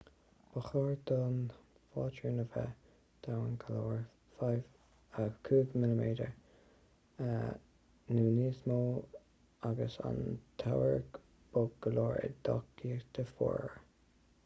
ba chóir don phátrún a bheith domhain go leor 5 mm 1/5 orlach nó níos mó agus an t-ábhar bog go leor i dteochtaí fuara